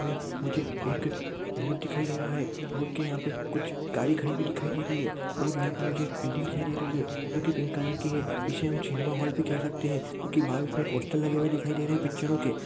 वे मुझे एक रोड दिखाई दे रहा है रोड ये यहाँ पे कुछ गाडी खड़ी हुई दिखाई दे रही है और मुझे यहाँ पे एक बिल्डिंग दिखाई दे रही है जो की पिंक कलर की है इसे हम सिनेमा हॉल भी कह सकते है क्यूकी बाहर इसमें पोस्टर लगे हुए दिखाई दे है है पिक्चरो के।